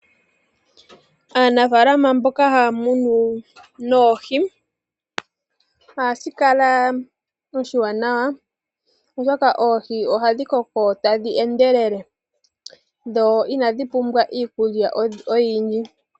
Aanafalama mboka haya munu noohi ohashi kala oshiwanawa oshoka oohi ohadhi koko tadhi endelele dho inadhi pumbwa iikukya oyindji.